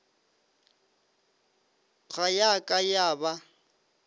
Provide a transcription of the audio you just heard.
ga ya ka ya ba